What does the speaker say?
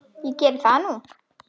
En geri það nú.